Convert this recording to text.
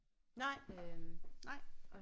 Nej nej